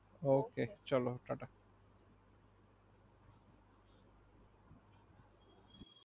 ok চলো tata